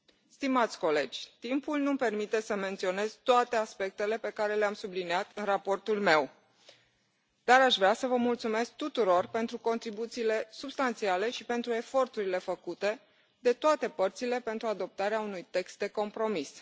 Stimați colegi, timpul nu mi permite să menționez toate aspectele pe care le am subliniat în raportul meu, dar aș vrea să vă mulțumesc tuturor pentru contribuțiile substanțiale și pentru eforturile făcute de toate părțile pentru adoptarea unui text de compromis.